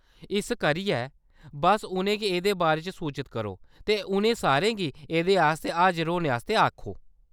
इस करियै, बस्स उʼनें गी एह्‌‌‌दे बारे च सूचत करो ते उ'नें सारें गी एह्‌‌‌दे आस्तै हाजर होने आस्तै आखो ।